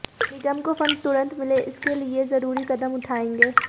निगम को फंड तुरंत मिले इसके लिए जरूरी कदम उठाएंगे